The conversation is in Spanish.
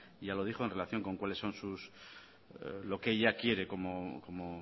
ya lo dijo en relación con qué es lo que ella quiere como